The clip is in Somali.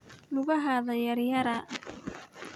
Lugaxadha yaryara.